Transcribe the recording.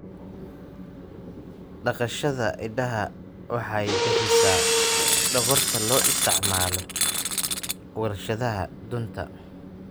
Dhaqashada idaha waxay bixisaa dhogorta loo isticmaalo warshadaha dunta.